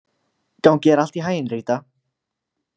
Gangi þér allt í haginn, Rita.